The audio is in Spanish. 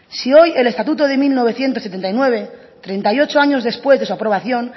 si hoy el estatuto de mil novecientos setenta y nueve treinta y ocho años después de su aprobación